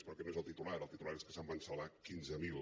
però aquest no és el titular el titular és que se’n van salvar quinze mil